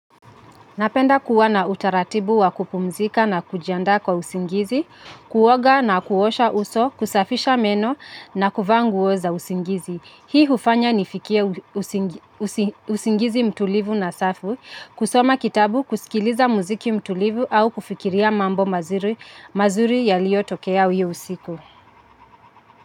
Napenda kuwa na utaratibu wa kupumzika na kujiandaa kwa usingizi, kuoga na kuosha uso, kusafisha meno na kuvaa nguo za usingizi. Hii hufanya nifikie usingizi mtulivu na safi, kusoma kitabu, kusikiliza muziki mtulivu au kufikiria mambo mazuri, mazuri yaliyotokea hio usiku.